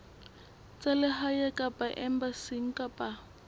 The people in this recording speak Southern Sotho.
tsa lehae kapa embasing kapa